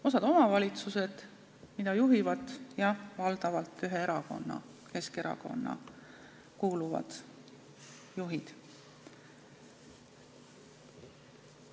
Osa omavalitsusi, mida juhivad, jah, valdavalt ühte erakonda, Keskerakonda kuuluvad juhid.